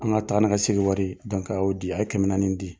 An ka taa ni ka segin wari a y'o di a y'o kɛmɛ naani di.